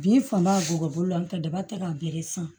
Bin fanba bɔgɔ la n ka daba tɛ ka bɛre san